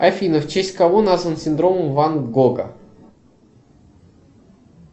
афина в честь кого назван синдром ван гога